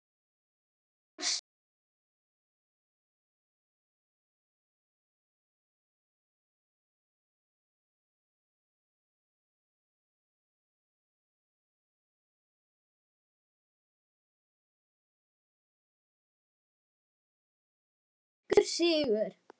Elsku, elsku amma mín.